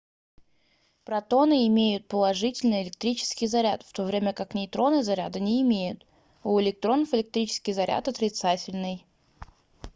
протоны имеют положительный электрический заряд в то время как нейтроны заряда не имеют у электронов электрический заряд отрицательный